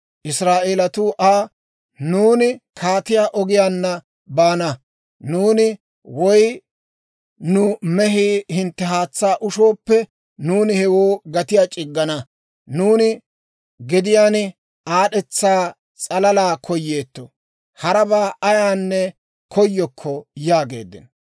Israa'eelatuu Aa, «Nuuni Kaatiyaa Ogiyaanna baana; nuuni woy nu mehii hintte haatsaa ushooppe, nuuni hewoo gatiyaa c'iggana. Nuuni gediyaan aad'd'etsa s'alalaa koyeetto; harabaa ayaanne koyokko» yaageeddino.